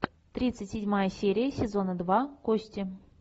тридцать седьмая серия сезона два кости